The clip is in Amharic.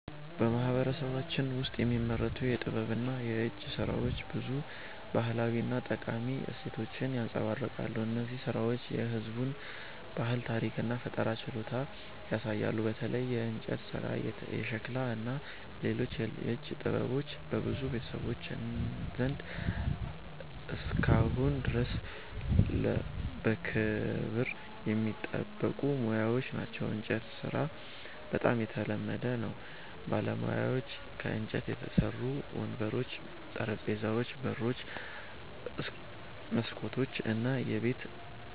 በማህበረሰባችን ውስጥ የሚመረቱ የጥበብና የእጅ ሥራዎች ብዙ ባህላዊ እና ጠቃሚ እሴቶችን ያንጸባርቃሉ። እነዚህ ሥራዎች የህዝቡን ባህል፣ ታሪክ እና ፈጠራ ችሎታ ያሳያሉ። በተለይ የእንጨት ሥራ፣ የሸክላ ሥራ እና ሌሎች የእጅ ጥበቦች በብዙ ቤተሰቦች ዘንድ እስካሁን ድረስ በክብር የሚጠበቁ ሙያዎች ናቸው። የእንጨት ሥራ በጣም የተለመደ ነው። ባለሙያዎች ከእንጨት የተሠሩ ወንበሮች፣ ጠረጴዛዎች፣ በሮች፣ መስኮቶች እና የቤት